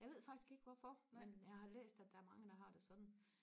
jeg ved faktisk ikke hvorfor men jeg har læst at der er mange der har det sådan